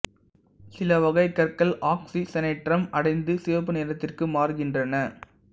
சில வகை கற்கள் ஆக்சிசனேற்றம் அடைந்து சிவப்பு நிறத்திற்கு மாறுகின்றன